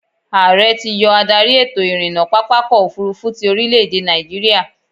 Ààrẹ ti yọ adarí ètò-ìrìnnà pápákọ̀-òfurufú ti orílè-èdè nàìjíríà.